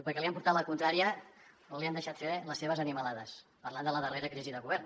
perquè li han portat la contrària o no li han deixat fer les seves animalades parlant de la darrera crisi de govern